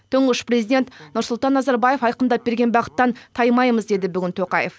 тұңғыш президент нұрсұлтан назарбаев айқындап берген бағыттан таймаймыз деді бүгін тоқаев